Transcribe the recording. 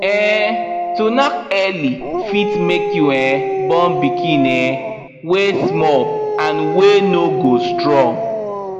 um to knack early fit make you um born pikin um wy small and wy no go strong